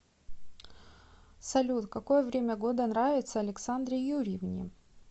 салют какое время года нравится александре юрьевне